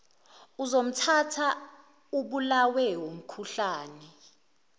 uzomthatha ubulawe wumkhuhlane